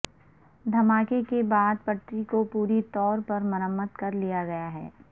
دھماکے کے بعد پٹری کو پوری طور پر مرمت کر لیا گیا ہے